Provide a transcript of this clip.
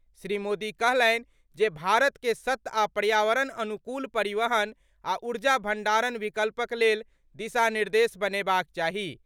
श्री मोदी कहलनि जे भारत के सत्त आ पर्यावरण अनुकूल परिवहन आ ऊर्जा भण्डारण विकल्पक लेल दिशा निर्देश बनेबाक चाही।